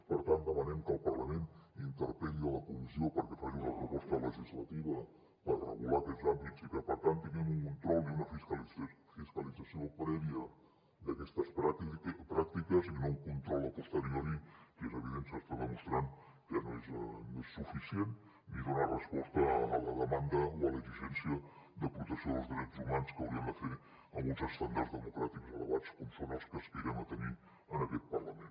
per tant demanem que el parlament interpel·li la comissió perquè faci una proposta legislativa per regular aquests àmbits i que per tant tinguem un control i una fiscalització prèvia d’aquestes pràctiques i no un control a posterioritrant que no és suficient ni dona resposta a la demanda o a l’exigència de protecció dels drets humans que haurien de fer amb uns estàndards democràtics elevats com són els que aspirem a tenir en aquest parlament